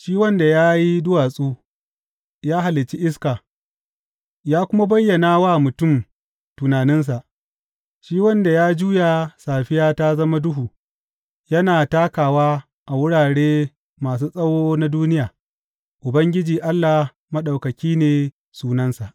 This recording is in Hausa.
Shi wanda ya yi duwatsu, ya halicci iska, ya kuma bayyana wa mutum tunaninsa, shi wanda ya juya safiya ta zama duhu yana takawa a wurare masu tsawo na duniya, Ubangiji Allah Maɗaukaki ne sunansa.